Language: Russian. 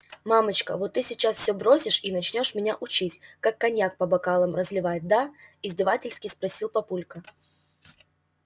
мамочка вот ты сейчас все бросишь и начнёшь меня учить как коньяк по бокалам разливать да издевательски спросил папулька